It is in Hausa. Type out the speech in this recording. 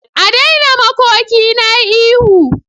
A daina makoki na yi ihu.